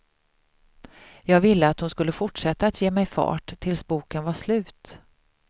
Jag ville att hon skulle fortsätta att ge mig fart tills boken var slut.